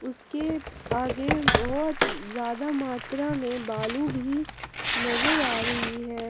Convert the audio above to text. इसके आगे बहोत ज्यादा मात्रा में बालू भी नजर आ रही है।